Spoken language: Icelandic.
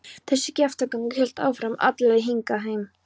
Þessi kjaftagangur hélt áfram alla leið hingað heim.